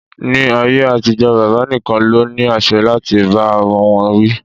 Ni ayé àtijó, bàbá nìkan ló ní àṣẹ láti bá ọmọ wọn wí